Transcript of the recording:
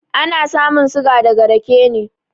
Ana samun suga daga raƙe ne.